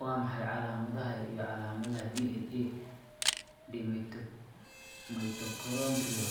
Waa maxay calaamadaha iyo calaamadaha DNA-da Mitochondrial